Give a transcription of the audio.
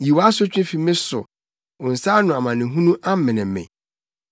Yi wʼasotwe fi me so; wo nsa ano amanehunu amene me.